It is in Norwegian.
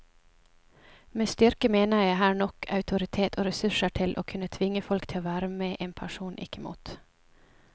Med styrke mener jeg her nok autoritet og ressurser til å kunne tvinge folk til å være med en person, ikke mot.